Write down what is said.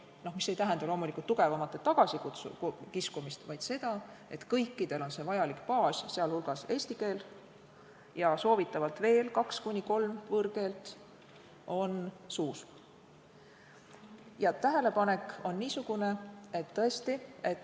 Loomulikult ei tähenda see tugevamate tagasikiskumist, vaid seda, et kõikidel on see vajalik baas, sealhulgas on eesti keele eskus ja soovitavalt kaks kuni kolm võõrkeelt suus.